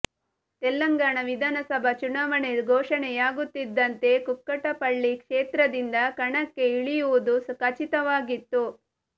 ತೆಲಂಗಾಣ ವಿಧಾನಸಭಾ ಚುನಾವಣೆ ಘೋಷಣೆಯಾಗುತ್ತಿದ್ದಂತೆ ಕುಕ್ಕಟ್ಟಪಳ್ಳಿ ಕ್ಷೇತ್ರದಿಂದ ಕಣಕ್ಕೆ ಇಳಿಯುವುದು ಖಚಿತವಾಗಿತ್ತು